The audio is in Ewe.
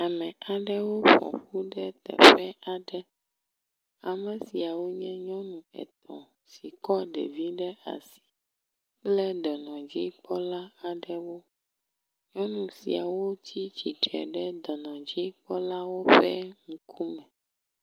Ame aɖewo ƒoƒu ɖe teƒe aɖe. Ame siawo nye nyɔnu etɔ̃ si kɔ ɖevi ɖe asi. Wole dɔnɔdzikpɔla aɖe gbɔ. Nyɔnu siawo tsi tsitre ɖe dɔnɔdzikpɔla ƒe ŋkume.